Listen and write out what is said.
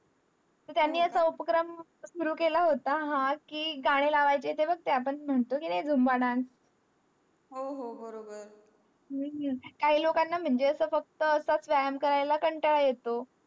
त्यांनी असा उपक्रम सुरु केला होता हा कि गाणी लावायचे ते बघ ते आपण म्हणत कि नाही zumba dance हो हो बरोबर काही लोकं ला माझे असा फक्त असा व्यायाम करायला ला कंटाळा येतो